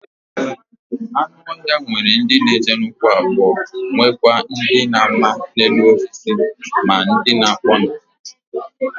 Anu ohia nwere ndi n'eje n'ukwu abuo nwekwa ndi n'ama n'elu osisi ma ndi na-akpo n'ala.